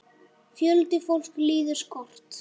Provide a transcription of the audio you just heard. Fjöldi fólks líður skort.